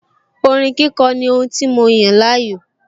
Orin kíkọ ní ohun tí mo yàn láàyò